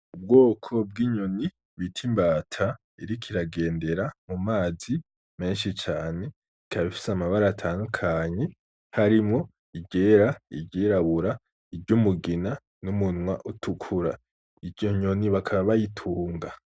Ubwoko bw'inyoni bita imbata, iriko iragendera mu mazi menshi cane, ikaba ifise amabara atandukanye, harimwo iryera, iryirabura, iryumugina n'umunwa itukura. Iyo nyoni baka bayitunga.